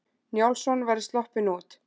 Njálsson væri sloppinn út.